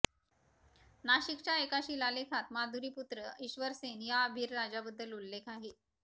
नाशिकच्या एका शिलालेखात माधुरीपुत्र ईश्वरसेन ह्या अभिर राजाबद्दल उल्लेख आहे